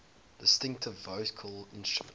distinctive vocal instrument